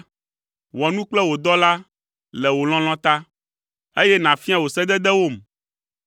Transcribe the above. Wɔ nu kple wò dɔla le wò lɔlɔ̃ ta, eye nàfia wò sededewom.